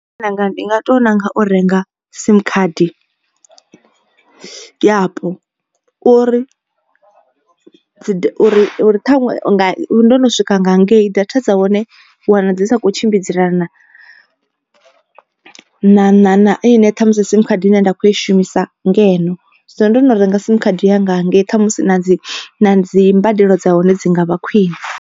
Ndi nga to ṋanga u renga sim khadi yapo uri dzi uri uri ṱhaṅwe nga ndo no swika nga ngei data dza hone wana dzi sa kho tshimbidzelana. Na na na na ine ṱhamusi sim khadi ine nda kho i shumisa ngeno so ndo no renga sim khadi yanga hangei ṱhamusi na dzi dzimbadelo dza hone dzi ngavha khwine.